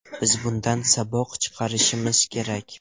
Biz bundan saboq chiqarishimiz kerak.